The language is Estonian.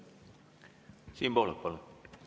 Siim Pohlak, palun!